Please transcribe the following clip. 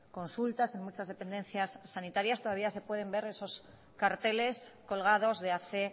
consultas en muchas dependencias sanitarias todavía se pueden ver esos carteles colgados de hace